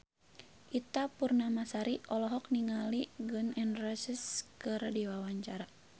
Ita Purnamasari olohok ningali Gun N Roses keur diwawancara